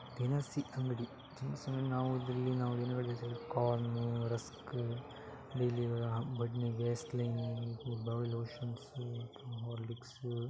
ದಿನಸಿ ಅಂಗಡಿ ಸೊ ಇಲ್ಲಿ ನಾವು corn rusk slim body lotions Horlicks --